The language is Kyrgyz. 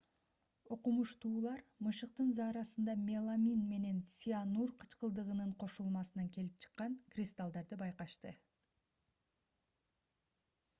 окумуштуулар мышыктын заарасында меламин менен цианур кычкылдыгынын кошулмасынан келип чыккан кристаллдарды байкашты